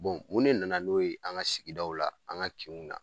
mun de nana n'o ye an ŋa sigidaw la, an ŋa kinw na?